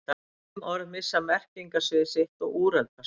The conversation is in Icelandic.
Sum orð missa merkingarsvið sitt og úreldast.